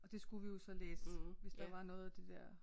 Og det skulle vi jo så læse hvis der var noget af det dér